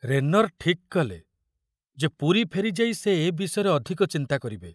ରେନର ଠିକ କଲେ ଯେ ପୁରୀ ଫେରିଯାଇ ସେ ଏ ବିଷୟରେ ଅଧିକ ଚିନ୍ତା କରିବେ।